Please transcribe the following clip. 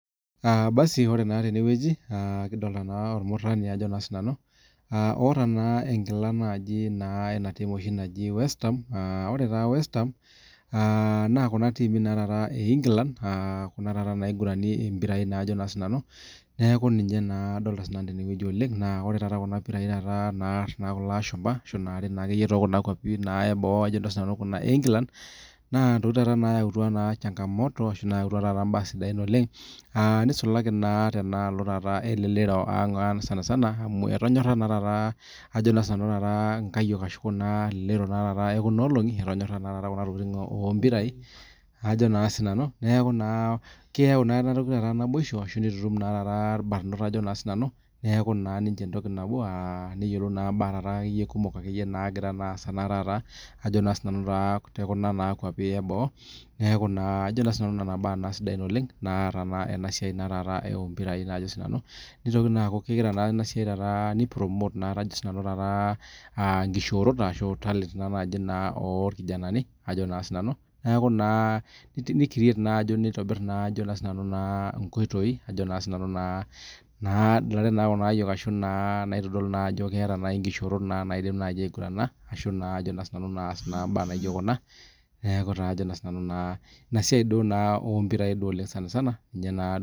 Ore tenewueji kidolita naa ormurani Ajo sinanu otaa naa enkila enaa team naaji westham aa ore taa westham naa Kuna timii ee England Kuna naigurani mpirai neeku ninche adolita oleng ore Kuna pirai naar kulo ashumba ashu natii too Kuna kwapie eboo ena noo England naa ntokitin taata nayautua changa moto ashu mbaa sidain nisulaki Tena shoti elelero ang sanisani amu etonyora taata nkayiok ashu Kuna elelero ekuna olongi etonyora Kuna tokitin oo mpirai Ajo naa sinanu neeku keyau taata ena toki naibosho ashu nitutum naa taata irbarnot neeku naa ninche entoki nabo neyiolou naa taata ninche mbaa kumok nagira asaa taata tekuna nkwapii eboo neeku Nena mbaa sidai oleng nataa enasiai ompirai nitoki aaku kegira enasiai nipromote taata nkishorot ashu talent oo irkijanani neeku nitobirr nkoitoi nadalare Kuna ayiok ashu naitodolu nkishorot Ajo maigurana mbaa naijio Kuna ena siai naa ompirai sanisana ninye naa ena